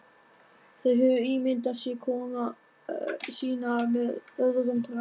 Þeir höfðu ímyndað sér komu sína með öðrum brag.